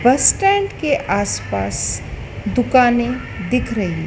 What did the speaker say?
बस स्टैंड के आसपास दुकानें दिख रही--